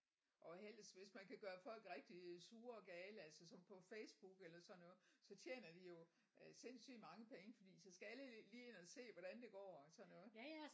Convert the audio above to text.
Og helst hvis man kan gøre folk rigtig sure og gale altså sådan på Facebook eller sådan noget så tjener de jo øh sindssygt mange penge fordi så skal alle lige ind og se hvordan det går og sådan noget